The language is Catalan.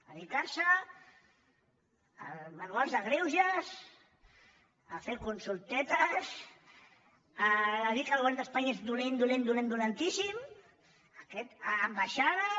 dedicarse a manuals de greuges a fer consultetes a dir que el govern d’espanya és dolent dolent dolentíssim a ambaixades